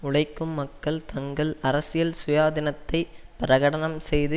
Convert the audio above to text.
உழைக்கும் மக்கள் தங்கள் அரசியல் சுயாதீனத்தை பிரகடனம் செய்து